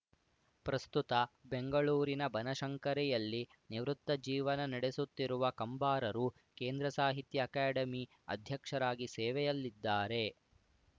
ಪ್ರಸ್ತುತ ಬೆಂಗಳೂರಿನ ಬನಶಂಕರಿಯಲ್ಲಿ ನಿವೃತ್ತ ಜೀವನ ನಡೆಸುತ್ತಿರುವ ಕಂಬಾರರು ಕೇಂದ್ರ ಸಾಹಿತ್ಯ ಅಕಾಡೆಮಿ ಅಧ್ಯಕ್ಷರಾಗಿ ಸೇವೆಯಲ್ಲಿದ್ದಾರೆ